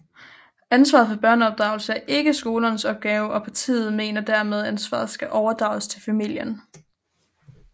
Ansvaret for børneopdragelse er ikke skolernes opgave og partiet mener dermed ansvaret skal overdrages til familien